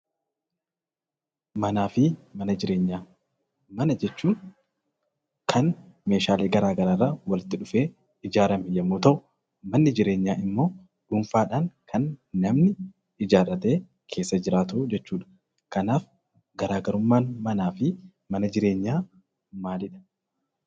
Manaa fi mana jireenyaa. Mana jechuun kan meeshaalee garaa garaa irraa walitti dhufee ijaarame yemmuu ta'u manni jireenyaa immoo dhuunfaadhaan kan namni ijaarratee keessa jiraatuu jechuudha, Kanaaf garaagarummaan manaa fi mana jireenyaa maalidha?